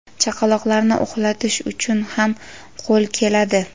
Chaqaloqlarni uxlatish uchun ham qo‘l keladi.